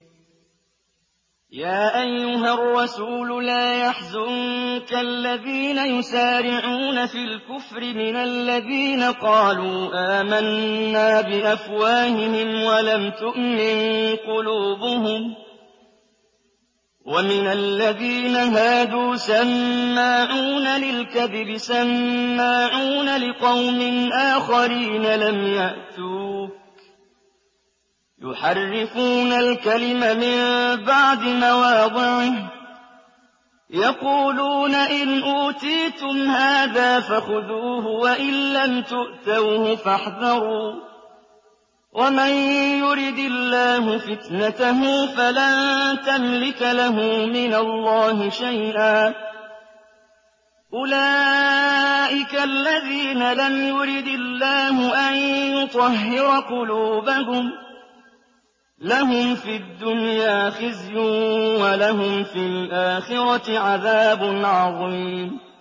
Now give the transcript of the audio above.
۞ يَا أَيُّهَا الرَّسُولُ لَا يَحْزُنكَ الَّذِينَ يُسَارِعُونَ فِي الْكُفْرِ مِنَ الَّذِينَ قَالُوا آمَنَّا بِأَفْوَاهِهِمْ وَلَمْ تُؤْمِن قُلُوبُهُمْ ۛ وَمِنَ الَّذِينَ هَادُوا ۛ سَمَّاعُونَ لِلْكَذِبِ سَمَّاعُونَ لِقَوْمٍ آخَرِينَ لَمْ يَأْتُوكَ ۖ يُحَرِّفُونَ الْكَلِمَ مِن بَعْدِ مَوَاضِعِهِ ۖ يَقُولُونَ إِنْ أُوتِيتُمْ هَٰذَا فَخُذُوهُ وَإِن لَّمْ تُؤْتَوْهُ فَاحْذَرُوا ۚ وَمَن يُرِدِ اللَّهُ فِتْنَتَهُ فَلَن تَمْلِكَ لَهُ مِنَ اللَّهِ شَيْئًا ۚ أُولَٰئِكَ الَّذِينَ لَمْ يُرِدِ اللَّهُ أَن يُطَهِّرَ قُلُوبَهُمْ ۚ لَهُمْ فِي الدُّنْيَا خِزْيٌ ۖ وَلَهُمْ فِي الْآخِرَةِ عَذَابٌ عَظِيمٌ